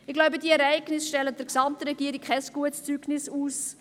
Ich glaube, diese Ereignisse stellen der gesamten Regierung kein gutes Zeugnis aus.